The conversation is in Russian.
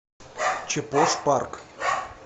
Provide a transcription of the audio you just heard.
чепош парк